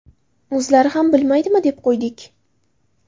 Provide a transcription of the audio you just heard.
O‘zlari ham bilmaydimi, deb qo‘ydik.